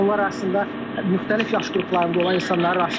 Bunlar arasında müxtəlif yaş qruplarında olan insanlara rast gəlinir.